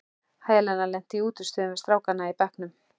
Helena lenti í útistöðum við strákana í bekknum.